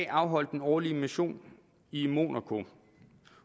afholdt den årlige mission i monaco